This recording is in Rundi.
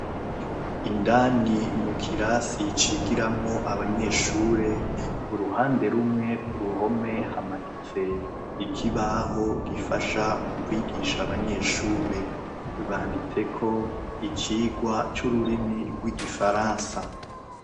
Indani mukirasi cigiramwo Abanyeshure, uruhande rumwe kuruhome hamanitse ikibaho gifasha mukwigisha Abanyeshure. Banditseko icigwa c'ururimi rw'igifaransa.